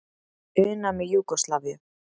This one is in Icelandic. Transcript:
una með Júgóslavíu.